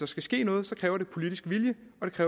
skal ske noget kræver det politisk vilje